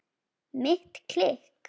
Mitt klikk?